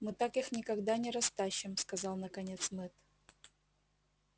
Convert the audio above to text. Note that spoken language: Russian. но так их никогда не растащим сказал наконец мэтт